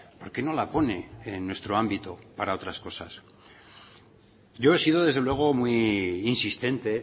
por qué no la pone en nuestro ámbito para otras cosas yo he sido desde luego muy insistente